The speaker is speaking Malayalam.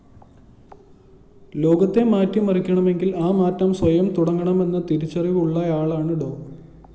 ലോകത്തെ മാറ്റിമറിക്കണമെങ്കില്‍ ആ മാറ്റം സ്വയം തുടങ്ങണമെന്ന തിരിച്ചറിവുള്ളയാളാണ് ഡോ